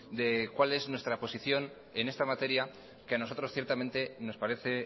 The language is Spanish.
de cuál es nuestra posición en esta materia que a nosotros ciertamente nos parece